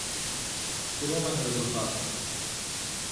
Skromen rezultat.